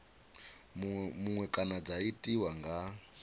muṅwe kana dza tiwa nga